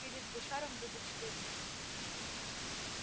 перед гусаром будет стыдно